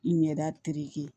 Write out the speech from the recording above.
I ɲɛda tereke